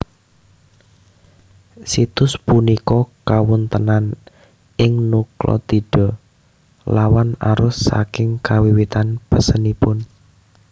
Situs punika kawontenan ing nukleotida lawan arus saking kawiwitan pesenipun